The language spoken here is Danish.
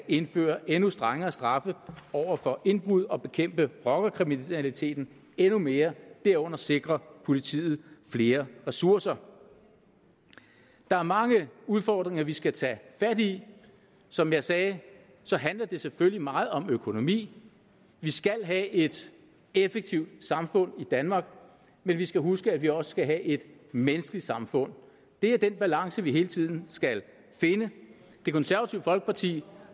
indføre endnu strengere straffe over for indbrud og bekæmpe rockerkriminaliteten endnu mere herunder sikre politiet flere ressourcer der er mange udfordringer vi skal tage fat i som jeg sagde handler det selvfølgelig meget om økonomi vi skal have et effektivt samfund i danmark men vi skal huske at vi også skal have et menneskeligt samfund det er den balance vi hele tiden skal finde det konservative folkeparti